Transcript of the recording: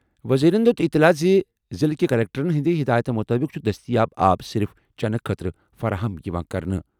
وزیرَن دِیُت اطلاع زِ ضِلعہٕ کہِ کلکٹرَن ہٕنٛدِ ہِدایتہٕ مُطٲبِق چھُ دستیاب آب صرف چنہٕ خٲطرٕ فراہم یِوان کرنہٕ۔